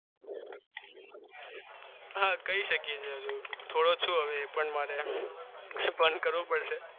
હા કહી શકીએ છીએ હજુ એ પણ મારે બંધ કરવું પડશે